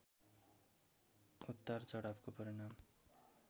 उतार चढावको परिणाम